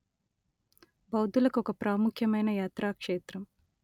బౌద్ధులకు ఒక ప్రాముఖ్యమైన యాత్రాక్షేత్రం